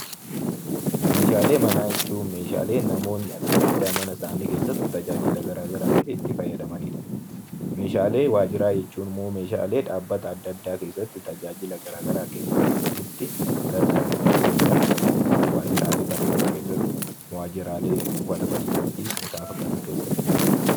Meeshaalee manaa jechuun namoonni adda addaa mana isaanii keessatti tajaajila adda addaatiif itti fayyadamanidha. Meeshaalee waajjiraa jechuun immoo meeshaalee dhaabbilee adda addaa keessatti tajaajila garaagaraa kennuuf itti gargaaramnu waajjiraalee barnootaa keessatti waajjiraalee buufata fayyaa keessattii fi kan kana fakkaatan keessatti